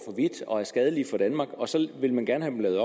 vidt og er skadelige for danmark og så vil man gerne have lavet